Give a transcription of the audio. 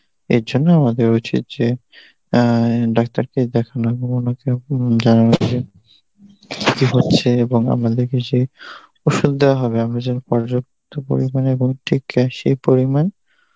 এর জন্যে আমাদের উচিত যে অ্যাঁ ডাক্তারকে দেখানো হচ্ছে এবং আমরা দেখেছি ওষুধ দেয়া হবে আমরা যখন পর্যাপ্ত পরিমাণে এবং সেই পরিমাণ